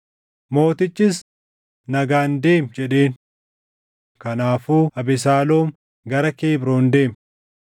Mootichis, “Nagaan deemi” jedheen. Kanaafuu Abesaaloom gara Kebroon deeme.